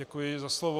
Děkuji za slovo.